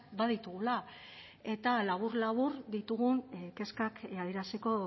baditugula eta labur labur ditugun kezkak adieraziko